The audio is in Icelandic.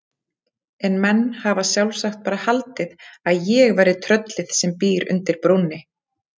En menn hafa sjálfsagt bara haldið að ég væri tröllið sem býr undir brúnni.